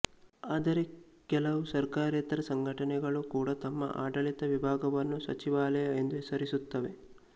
ಆದರೆ ಕೆಲವು ಸರ್ಕಾರೇತರ ಸಂಘಟನೆಗಳು ಕೂಡ ತಮ್ಮ ಆಡಳಿತ ವಿಭಾಗವನ್ನು ಸಚಿವಾಲಯ ಎಂದು ಹೆಸರಿಸುತ್ತವೆ